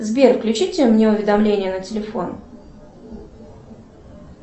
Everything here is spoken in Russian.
сбер включите мне уведомления на телефон